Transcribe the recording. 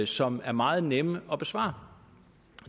som er meget nemme at besvare